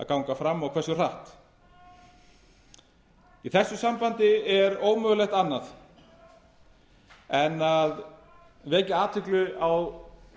benda fram og hversu hratt í þessu sambandi er ómögulegt annað en vekja athygli á